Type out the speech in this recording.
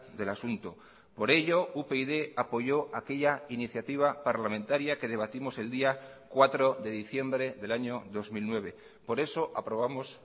del asunto por ello upyd apoyó aquella iniciativa parlamentaria que debatimos el día cuatro de diciembre del año dos mil nueve por eso aprobamos